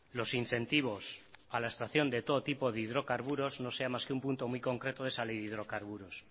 los incentivos a la extracción de todo tipo de hidrocarburos no sea más que un punto muy concreto de esa ley de hidrocarburos